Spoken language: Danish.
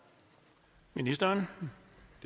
ministeren